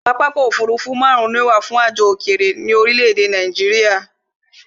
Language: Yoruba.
Pápákọ̀ ọ̀kọ òfurufú máàrún ni ó wà fún ìrìn àjò òkèrè ní orílé èdè Nàìjíría